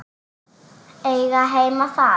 Eiga heima þar.